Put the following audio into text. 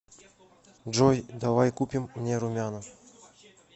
джой давай купим мне румяна